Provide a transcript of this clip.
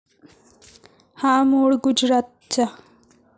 हा मूळ गुजरातचा.